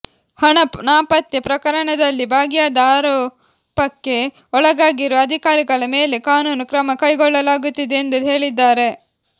ಹಣ ನಾಪತ್ತೆ ಪ್ರಕರಣದಲ್ಲಿ ಭಾಗಿಯಾದ ಆರೋ ಪಕ್ಕೆ ಒಳಗಾಗಿರುವ ಅಧಿಕಾರಿಗಳ ಮೇಲೆ ಕಾನೂನು ಕ್ರಮ ಕೈಗೊಳ್ಳ ಲಾಗುತ್ತಿದೆ ಎಂದೂ ಹೇಳಿದ್ದಾರೆ